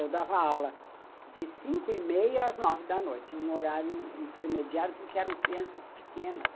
Eu dava aula de cinco e meia às nove da noite, um horário intermediário, porque eram crianças pequenas.